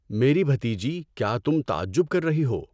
میری بھتیجی کیا تم تعجب کر رہی ہو؟